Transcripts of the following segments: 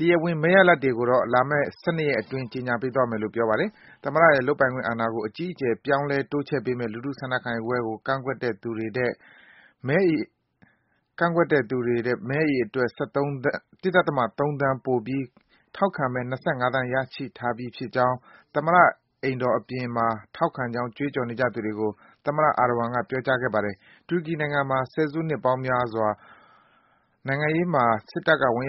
တရားဝင် မဲရလဒ်တွေကို လာမယ့် ၁၂ ရက်အတွင်း ကြေညာပေးသွားမယ်လို့ ပြောပါတယ်။ သမ္မတရဲ့ လုပ်ပိုင်ခွင့်အာဏာတွေကို အကြီးအကျယ် ပြောင်းလဲ တိုးချဲ့ပေးမယ့် လူထုဆန္ဒခံယူပွဲကို ကန့်ကွက်တဲ့သူတွေထက် မဲအရေအတွက် ၁.၃ သန်း ပိုပြီး ထောက်ခံမဲ ၂၅ သန်း ရရှိခဲ့ပြီးဖြစ်ကြောင်း သမ္မတ အိမ်တော်အပြင်မှာ ထောက်ခံကြောင်း ကြွေးကြော်နေကြသူတွေကို သမ္မတ Erdogan က ပြောကြားခဲ့ပါတယ်။ တူရကီ နိုင်ငံရေးမှာ ဆယ်စုနှစ်ပေါင်းများစွာ ဝင်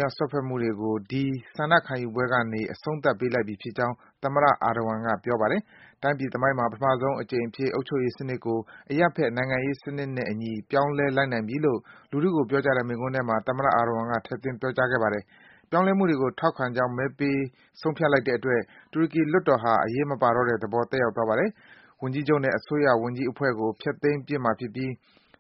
ရောက် စွက်ဖက်နေမှုတွေကို ဒီ လူထုဆန္ဒခံယူပွဲကနေ အဆုံးသတ်ပေးလိုက်ပြီဖြစ်ကြောင်းလည်း သမ္မတ Erdogan က ပြောပါတယ်။ တိုင်းပြည်သမိုင်းမှာ ပထမဆုံးအကြိမ်အဖြစ် အုပ်ချုပ်ရေးစံနစ်ကို အရပ်ဖက် နိုင်ငံရေး စံနစ်နဲ့အညီ ပြောင်းလဲလိုက်နိုင်ပြီလို့ လူထုကို ပြောကြားတဲ့ မိန့်ခွန်းထဲမှာ သမ္မတ Erdogan က ထည့်သွင်း ပြောကြားခဲ့ပါတယ်။ ပြောင်းလဲမှုတွေကို ထောက်ခံကြောင်း မဲပေး ဆုံးဖြတ်လိုက်တဲ့အတွက် တူရကီ လွှတ်တော်ဟာ အရေးမပါတော့တဲ့သဘော သက်ရောက်သွားပါတယ်။ ဝန်ကြီးချုပ်နဲ့ အစိုးရဝန်ကြီးအဖွဲ့ကို ဖျက်သိမ်းပစ်မှာဖြစ်ပြီး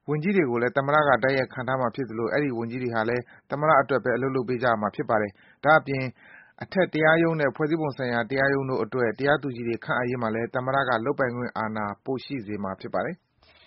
ဝန်ကြီးတွေကိုလည်း သမ္မတက တိုက်ရိုက် ခန့်ထားမှာဖြစ်သလို အဲဒီ ဝန်ကြီးတွေဟာလည်း သမ္မတအတွက်ပဲ အလုပ်လုပ်ပေးကြရမှာ ဖြစ်ပါတယ်။ ဒါ့အပြင် အထက်တရားရုံးနဲ့ ဖွဲ့စည်းပုံဆိုင်ရာ တရားရုံးတို့အတွက် တရားသူကြီးတွေ ခန့်အပ်ရေးမှာလည်း သမ္မတက လုပ်ပိုင်ခွင့်အာဏာ ပိုရှိစေမှာ ဖြစ်ပါတယ်။